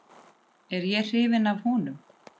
Er ég hrifinn af honum?